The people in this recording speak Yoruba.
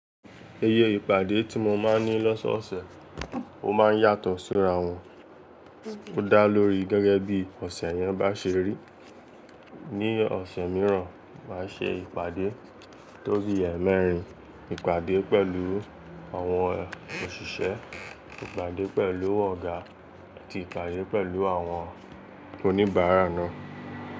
Ìyẹ ìpàdé tí mo máa ń ní lọ́sọ̀ọ̀sẹ̀, ó máa ń yàtọ̀ síra wọn. Ó dá lórí gẹ́gẹ́ bí ọ̀sẹ̀ yẹn bá ṣe rí. Ni ọ̀sẹ̀ mìíràn, màá ṣe ìpàdé tó bí ẹ̀ẹ́mẹ́rin, ìpàdé pẹ̀lú àwọn òṣìṣẹ́, ìpàdé pẹ̀lú ọ̀gá, àti ìpàdé pẹ̀lú àwọn oníbàárà náà.